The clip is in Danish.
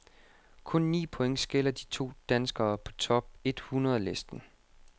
Kun ni point skiller de to danskere på top ethundrede listen.